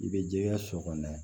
I bɛ jɛkɛ so kɔnɔ